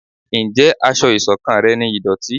Njé aṣọ iṣọ̀kan rẹ ní ìdòtí?